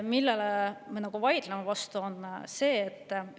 Aga me vaidleme vastu.